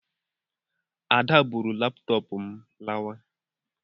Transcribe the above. Ada buuru laptoopu m lawa